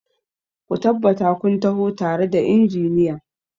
Ka tabbata kun taho tare da injiniyan!